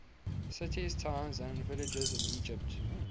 cities towns and villages in egypt